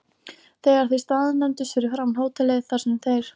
Þegar þeir staðnæmdust fyrir framan hótelið, þar sem þeir